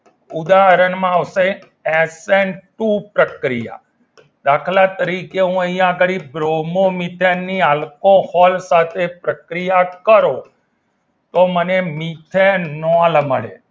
ઉદાહરણમાં આપશે S N two પ્રક્રિયા દાખલા તરીકે હું અહીંયા આગળી બ્રોમો મિથેન આલ્કોહોલ સાથે પ્રક્રિયા કરો તો મને મિથેનોલ મળે